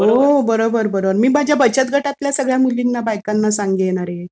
हो, बरोबर बरोबर. मी माझ्या बचत गटातल्या सगळ्या मुलींना-बायकांना सांगेन अरे!